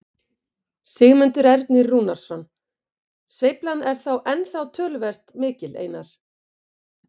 Sigmundur Ernir Rúnarsson: Sveiflan er ennþá töluvert mikil Einar?